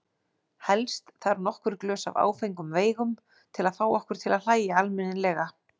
Helst þarf nokkur glös af áfengum veigum til að fá okkur til að hlæja almennilega.